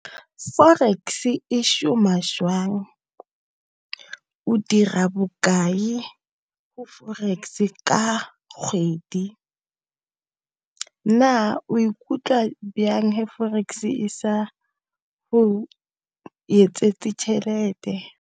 Forex e šoma jwang? O dira bokae ko forex ka kgwedi? Na o ikutlwa byang he forex e sa go yetsetse tšhelete?